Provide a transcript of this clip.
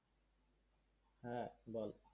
হ্যাঁ বল